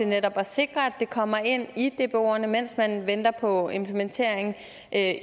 netop at sikre at det kommer ind i dboerne mens man venter på implementeringen af